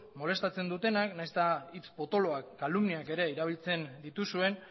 molestatzen dutenak nahiz eta hitz potoloak kalumniak ere erabiltzen dituzuen